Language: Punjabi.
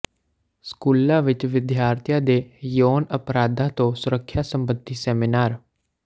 ਸਕੂਲਾਂ ਵਿੱਚ ਵਿਦਿਆਰਥੀਆਂ ਦੇ ਯੋਨ ਅਪਰਾਧਾਂ ਤੋਂ ਸੁਰੱਖਿਆ ਸਬੰਧੀ ਸੇਮਿਨਾਰ